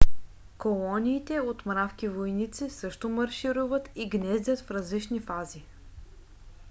колониите от мравки-войници също маршируват и гнездят в различни фази